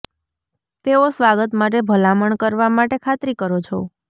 તેઓ સ્વાગત માટે ભલામણ કરવા માટે ખાતરી કરો છો